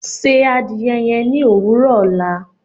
Ṣé àdìẹ̀ yẹn ni owurọ ọla